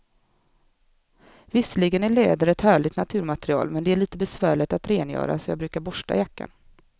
Visserligen är läder ett härligt naturmaterial, men det är lite besvärligt att rengöra, så jag brukar borsta jackan.